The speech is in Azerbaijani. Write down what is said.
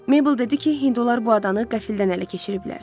Mabel dedi ki, Hindular bu adanı qəfildən ələ keçiriblər.